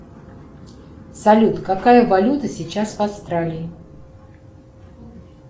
салют какая валюта сейчас в австралии